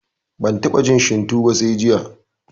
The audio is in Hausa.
Ban taɓa jin shinto ba sai jiya